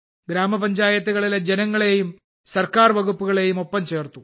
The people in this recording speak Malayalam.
ഗ്രാമപഞ്ചായത്തുകളിലെ ജനങ്ങളെയും സർക്കാർ വകുപ്പുകളെയും ഒപ്പം ചേർത്തു